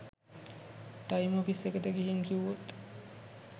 time office එකට ගිහින් කිව්වොත්